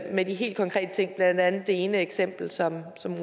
med de helt konkrete ting blandt andet det ene eksempel som